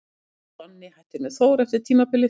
En Donni hættir með Þór eftir tímabilið.